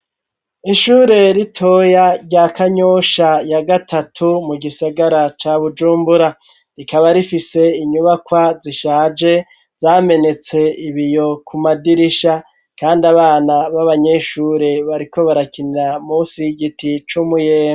Ishure ritoya rya Kanyosha ya gatatu mu gisagara ca Bujumbura rikaba rifise inyubakwa zishaje zamenetse ibiyo ku madirisha kandi abana baba nyeshure bariko barakinira musi giti cumuyembe.